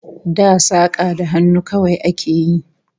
Da saka da hannu kawai a ke yi